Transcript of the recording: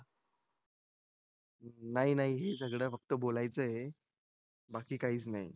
नाही नाही हेच सगळं फक्त बोलायचं आहे बाकी काहीच नाही